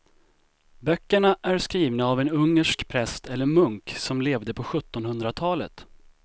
Böckerna är skrivna av en ungersk präst eller munk som levde på sjuttonhundratalet.